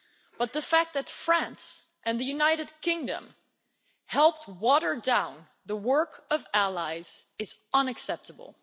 But the fact that France and the United Kingdom helped water down the work of allies is unacceptable.